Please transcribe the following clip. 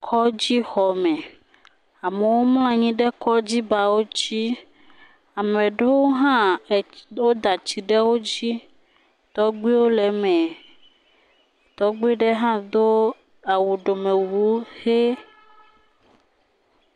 Kɔdzi xɔme. Amewo mlɔ anyi ɖe kɔdzibawo dzi. Ame aɖewo hã, wò da tsi ɖe wodzi. Tɔgbe le eme. Tɔgbe aɖe hã Do awu ɖome wu wo eye.......